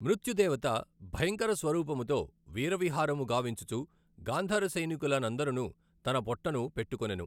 మృత్యుదేవత భయంకర స్వరూపముతో వీరవిహారము గావించుచు గాంధార సైనికుల నందఱను దన పొట్టను బెట్టుకొనెను.